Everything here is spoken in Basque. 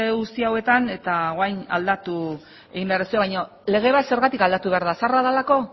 guzti hauetan eta orain aldatu egin behar duzue baina lege bat zergatik aldatu behar da zaharra delako